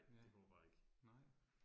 Ja, nej